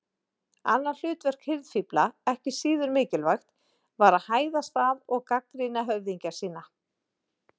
Annað hlutverk hirðfífla, ekki síður mikilvægt, var að hæðast að og gagnrýna höfðingja sína.